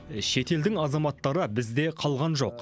шетелдің азаматтары бізде қалған жоқ